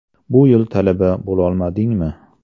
Bu yil talaba bo‘lolmadingmi?